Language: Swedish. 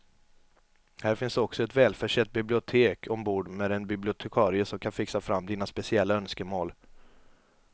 Här finns också ett välförsett bibliotek ombord med en bibliotekarie som kan fixa fram dina speciella önskemål.